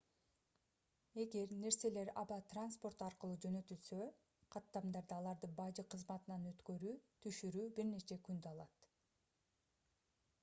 эгер нерселер аба транспорту аркылуу жөнөтүлсө каттамдарда аларды бажы кызматынан өткөрүү түшүрүү бир нече күндү алат